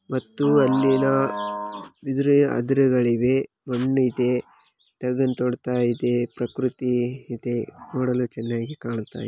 ಮತ್ತು ಅಲ್ಲಿನ ಇದುರೆ ಅದುರೆಗಳು ಇವೆ ಮಣ್ಣಿದೆ ಡ್ರ್ಯಾಗನ್ ತೋಡ್ತಾ ಇದೆ ಪ್ರಕೃತಿ ಇದೆ ನೋಡಲು ಚೆನ್ನಾಗಿ ಕಾಣ್ತಾ ಇದೆ.